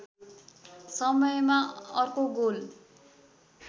समयमा अर्को गोल